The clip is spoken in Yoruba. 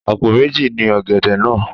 Àpò méji ni ọ̀gẹ̀dẹ̀ náà.